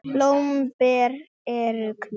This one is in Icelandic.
Blóm og ber eru hvít.